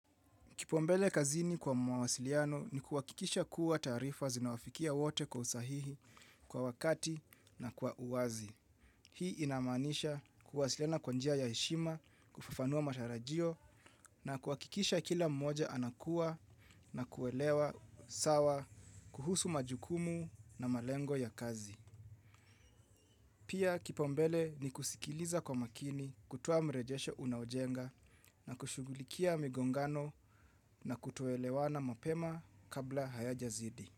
Kipaumbele kazini kwa mawasiliano ni kuwakikisha kuwa taarifa zinawafikia wote kwa usahihi kwa wakati na kwa uwazi. Hii inamaanisha kuwasiliana kwa njia ya heshima, kufffanua matarajio na kuwakikisha kila mmoja anakua na kuelewa sawa kuhusu majukumu na malengo ya kazi. Pia kipaumbele ni kusikiliza kwa makini kutoa mrejesho unaojenga na kushugulikia migongano na kutoelewana mapema kabla hayajazidi.